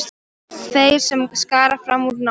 Þeir sem skara fram úr í námi.